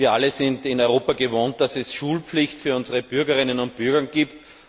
Wir alle sind es in Europa gewohnt, dass es Schulpflicht für unsere Bürgerinnen und Bürger gibt.